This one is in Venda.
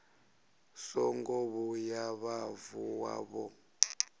songo vhuya vha vuwa vho